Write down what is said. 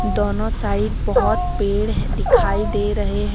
दोनो साइड बहोत पेड़ है दिखाई दे रहे है।